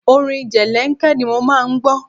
Orin jẹlẹ́ńkẹ́ ni mo máa ń gbọ́.